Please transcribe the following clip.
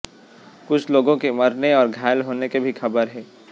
कुछ लोगों के मरने और घायल होने की भी खबर है